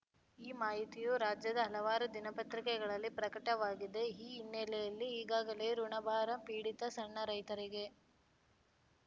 ಈ ಮಾಹಿತಿಯು ರಾಜ್ಯದ ಹಲವಾರು ದಿನಪತ್ರಿಕೆಗಳಲ್ಲಿ ಪ್ರಕಟವಾಗಿದೆ ಈ ಹಿನ್ನೆಲೆಯಲ್ಲಿ ಈಗಾಗಲೇ ಋುಣಭಾರ ಪೀಡಿತ ಸಣ್ಣ ರೈತರಿಗೆ